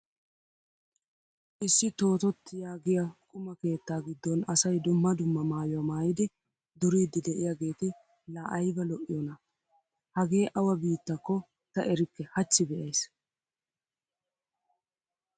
Issi Toototti yaagiya qumaa keettaa giddon asay dumma dumma maayuwa maayidi duriiddi de'iyageeti laa ayba lo'iyona! Hagee awa biittakko ta erikke hachchi be'ays.